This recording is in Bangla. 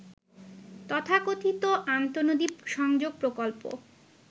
তথাকথিত আন্তঃনদী সংযোগ প্রকল্প